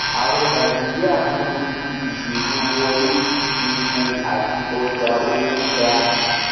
àwọn nàíjíríà ń kojú ìṣòro wọlé sí epo àti ọjà owó ga